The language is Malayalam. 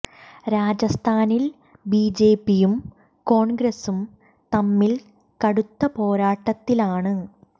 രാജസ്ഥാനിൽ ബി ജെ പി യും കോൺഗ്രസും തമ്മിൽ കടുത്ത പോരാട്ടത്തിലാണ്